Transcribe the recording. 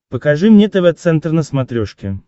покажи мне тв центр на смотрешке